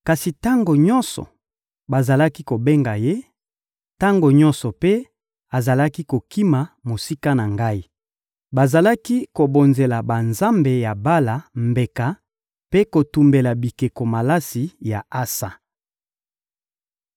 Kasi tango nyonso bazalaki kobenga ye, tango nyonso mpe azalaki kokima mosika na Ngai. Bazalaki kobonzela banzambe ya Bala mbeka mpe kotumbela bikeko malasi ya ansa.